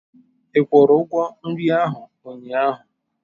Ị kwụrụ ugwo nri ahụ unyaahu?